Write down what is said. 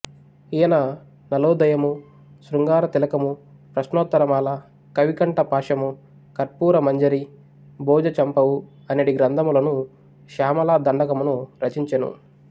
ఈయన నళోదయము శృంగార తిలకము ప్రశ్నోత్తరమాల కవికంఠ పాశము కర్పూరమంజరి భోజచంపువు అనెడు గ్రంథములను శ్యామలా దండకమును రచియించెను